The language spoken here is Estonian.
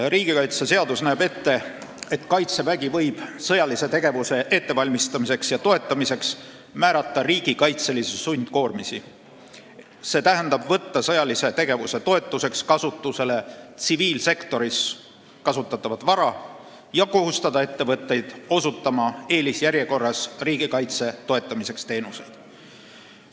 Riigikaitseseadus näeb ette, et Kaitsevägi võib sõjalise tegevuse ettevalmistamiseks ja toetamiseks määrata riigikaitselisi sundkoormisi, st võtta sõjalise tegevuse toetuseks kasutusele tsiviilsektoris kasutatavat vara ja kohustada ettevõtteid riigikaitse toetamiseks teenuseid osutama eelisjärjekorras.